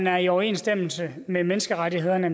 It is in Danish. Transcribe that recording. er i overensstemmelse med menneskerettighederne